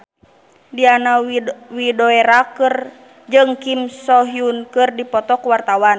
Diana Widoera jeung Kim So Hyun keur dipoto ku wartawan